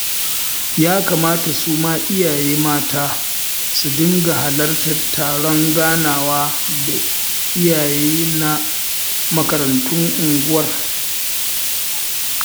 Ya kamata su ma iyaye mata su dinga halartar taron ganawa da iyaye na makarantun unguwar